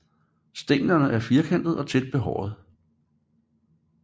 Stænglerne er firkantede og tæt behårede